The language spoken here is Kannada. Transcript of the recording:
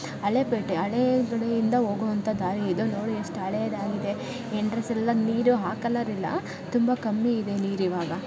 ಹಳೇ ಪೇಟೆ ಹಳೇಕಡೆಯಿಂದ ಹೋಗುವಂತಹ ದಾರಿಯಿದು ನೋಡು ಎಷ್ಟು ಹಳೆಯದಾಗಿದೆ ಎಂಟ್ರನ್ಸ್ ಎಲ್ಲ ನೀರು ಆ ಕಲರ್ ಇಲ್ಲ ತುಂಬಾ ಕಮ್ಮಿ ಇದೆ ನೀರ್ ಈವಾಗ.